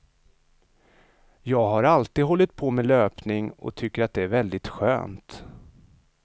Jag har alltid hållit på med löpning och tycker att det är väldigt skönt.